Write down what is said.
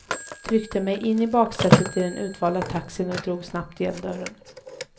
Tryckte mig in i baksätet i den utvalda taxin och drog snabbt igen dörren.